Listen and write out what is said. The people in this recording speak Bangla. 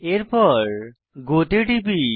এরপর গো তে টিপি